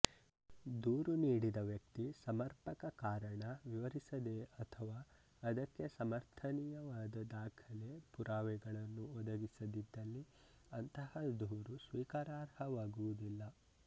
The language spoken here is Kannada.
ದೂರು ನೀಡಿದ ವ್ಯಕ್ತಿ ಸಮರ್ಪಕ ಕಾರಣ ವಿವರಿಸದೆ ಅಥವಾ ಅದಕ್ಕೆ ಸಮರ್ಥನೀಯವಾದ ದಾಖಲೆ ಪುರಾವೆಗಳನ್ನು ಒದಗಿಸದಿದ್ದಲ್ಲಿ ಅಂತಹ ದೂರು ಸ್ವೀಕಾರಾರ್ಹವಾಗುವುದಿಲ್ಲ